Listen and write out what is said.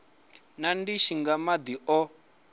na ndishi nga madi o